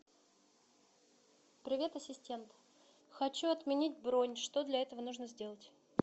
привет ассистент хочу отменить бронь что для этого нужно сделать